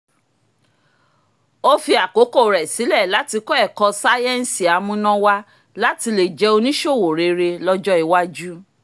ó fi àkókò rẹ sílẹ̀ láti kọ́ ẹ̀kọ́ sáyẹ́nsì amúnáwáá láti lè jẹ́ oníṣòwò rere lọ́jọ́ iwájú